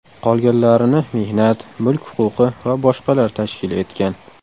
Qolganlarini mehnat, mulk huquqi va boshqalar tashkil etgan.